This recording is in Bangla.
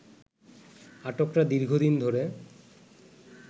আটকরা দীর্ঘদিন ধরে